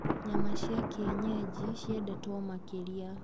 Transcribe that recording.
Nyama cia kienyeji ciendetwo makĩria.